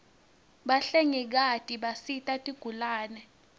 bahlengikati bisita tigulane